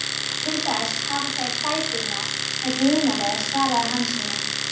Til þess hafa þeir fæturna að glíma með, svaraði Hansína.